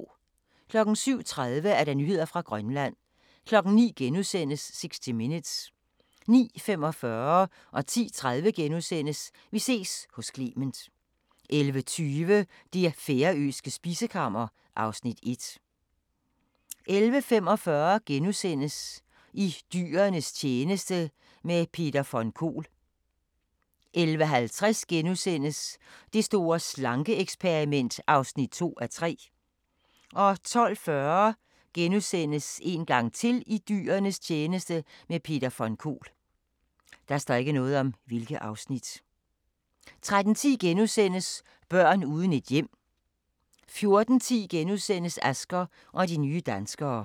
07:30: Nyheder fra Grønland 09:00: 60 Minutes * 09:45: Vi ses hos Clement * 10:30: Vi ses hos Clement * 11:20: Det færøske spisekammer (Afs. 1) 11:45: I dyrenes tjeneste – med Peter von Kohl * 11:50: Det store slanke-eksperiment (2:3)* 12:40: I dyrenes tjeneste – med Peter von Kohl * 13:10: Børn uden et hjem * 14:10: Asger og de nye danskere (5:6)*